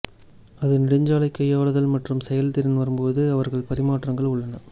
அது நெடுஞ்சாலை கையாளுதல் மற்றும் செயல்திறன் வரும் போது அவர்கள் பரிமாற்றங்கள் உள்ளன